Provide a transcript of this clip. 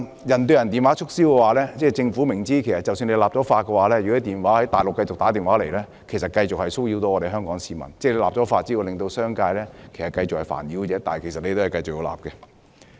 "人對人"電話促銷方面，政府明知即使立法禁止，若電話從內地打出，香港市民仍會繼續受騷擾，立法只會煩擾商界，但政府仍堅持立法。